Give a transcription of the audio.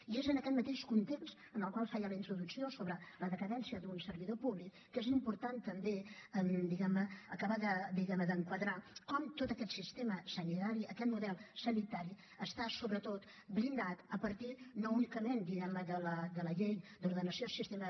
i és en aquest mateix context en el qual feia la introducció sobre la decadència d’un servidor públic que és important també diguem ne acabar d’enquadrar com tot aquest sistema sanitari aquest model sanitari està sobretot blindat a partir no únicament de la llei d’ordenació del sistema